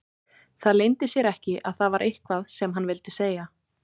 Það leyndi sér ekki að það var eitthvað sem hann vildi segja.